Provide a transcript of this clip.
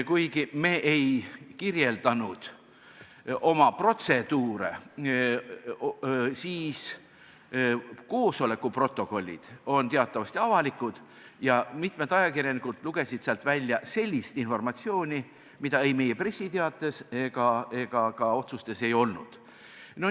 Kuigi me ei kirjeldanud oma protseduure, on koosoleku protokollid teatavasti avalikud ja mitmed ajakirjanikud lugesid sealt välja sellist informatsiooni, mida meie pressiteates ega ka otsustes ei olnud.